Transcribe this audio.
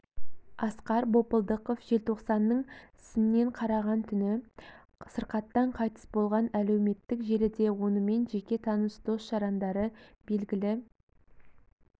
асқар бопылдықов желтоқсанның сінен қараған түні сырқаттан қайтыс болған әлеуметтік желіде онымен жеке таныс дос-жарандары белгілі